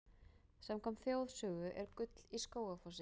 Samkvæmt þjóðsögu er gull í Skógafossi.